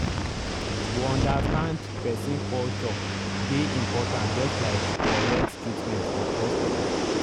to understand person culture dey important just like correct treatment for hospital.